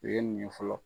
U ye nin ye fɔlɔ